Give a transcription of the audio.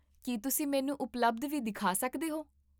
ਕੀ ਤੁਸੀਂ ਮੈਨੂੰ ਉਪਲਬਧ ਵੀ ਦਿਖਾ ਸਕਦੇ ਹੋ?